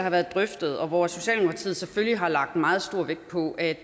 har været drøftet og hvor socialdemokratiet selvfølgelig har lagt meget stor vægt på at